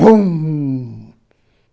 Bum!